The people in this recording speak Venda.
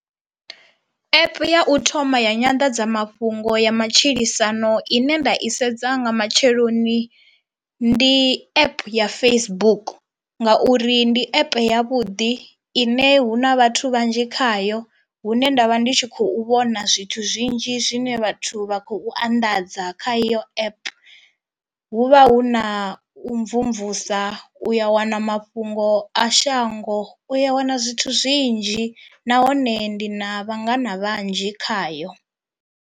App ya u thoma ya nyanḓadzamafhungo ya matshilisano ine nda i sedza nga matsheloni ndi app ya Facebook ngauri ndi app ya vhuḓi ine hu na vhathu vhanzhi khayo hune ndavha ndi tshi khou vhona zwithu zwinzhi zwine vhathu vha khou anḓadza kha eyo app, hu vha hu na u mvumvusa u ya wana mafhungo a shango u ya wana zwithu zwinzhi nahone ndi na vhangana vhanzhi khayo.